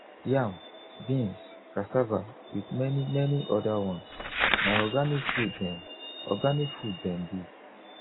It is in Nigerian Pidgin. yam beans cassava with many many other ones na organic food dem organic food dem be